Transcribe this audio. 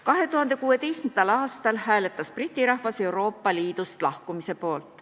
2016. aastal hääletas Briti rahvas Euroopa Liidust lahkumise poolt.